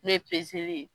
N'o ye ye